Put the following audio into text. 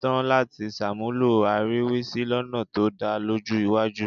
tán láti ṣàmúlò àríwísí lọ́nà tó dà lọ́jọ́ iwájú